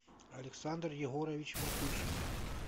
александр егорович матюшкин